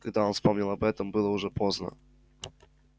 когда он вспомнил об этом было уже поздно